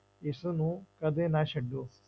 ਇਸਨੂੰ ਕਦੇ ਨਾ ਛੱਡੋ।